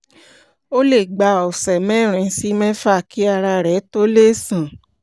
ó lè gba ọ̀sẹ̀ mẹ́rin sí mẹ́fà kí ara rẹ tó lè san